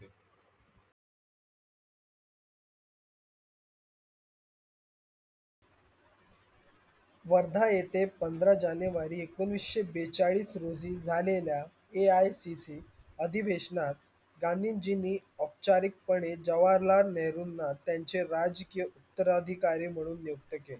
वर्धा येते पंदरा जानेवारी एकोणविशे बेचाडिश रोजी झालेलल्या AICC अधिवेसनात गांधीजिनि ओपचरीक पणे जवाहरलाल नेहरूणा त्यांचे राजकीय उत्तरअधिकारी म्हणून निउक्ती केले.